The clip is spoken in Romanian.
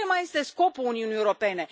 Care mai este scopul Uniunii Europene?